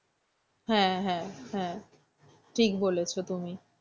হ্যাঁ হ্যাঁ হ্যাঁ ঠিক বলেছো তুমি।